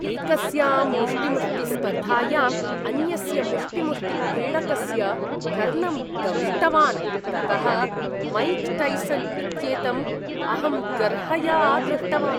एकस्यां मुष्टीमुष्टिस्पर्धायाम् अन्यस्य मुष्टीमुष्टिक्रीडकस्य कर्णं दंष्टवान् ततः मैक् टैसन् इत्येतम् अहं गर्हया दृष्टवान्।